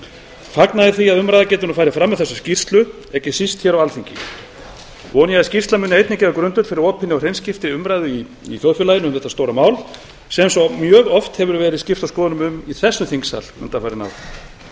fagna ég því að umræða geti nú farið fram um þessa skýrslu ekki síst hér á alþingi vona ég að skýrslan muni einnig gefa grundvöll fyrir opinni og hreinskiptinni umræðu í þjóðfélaginu um þetta stóra mál sem svo mjög hefur verið skipst á skoðunum um í þessum þingsal undanfarin ár